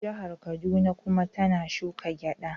Jihar Kaduna kuma tana shuka gyada.